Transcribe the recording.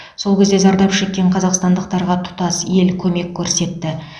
сол кезде зардап шеккен қазақстандықтарға тұтас ел көмек көрсетті